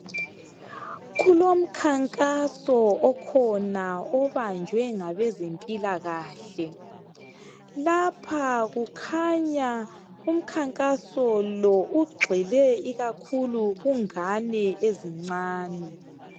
Kulomkhankaso okhona obanjwe ngabezempilakahle, lapha kukhanya umkhankaso lo! ugxile ikakhulu kungane ezincane.